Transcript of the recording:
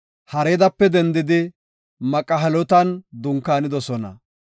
Haradape dendidi Maqhelotan dunkaanidosona.